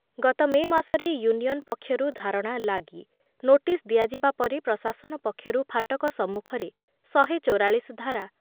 ଗତ ମେ ମାସରେ ୟୁନିୟନ୍ ପକ୍ଷରୁ ଧାରଣା ଲାଗି ନୋଟିସ୍ ଦିଆଯିବା ପରେ ପ୍ରଶାସନ ପକ୍ଷରୁ ଫାଟକ ସମ୍ମୁଖରେ ଶହେ ଚୌରାଳିଶି ଧାରା